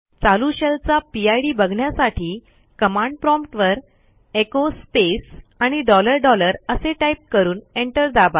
चालू शेलचा पिड बघण्यासाठी कमांड प्रॉम्प्ट वरecho स्पेस आणि डॉलर डॉलर असे टाईप करून एंटर दाबा